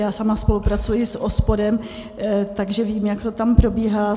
Já sama spolupracuji s OSPODem, takže vím, jak to tam probíhá.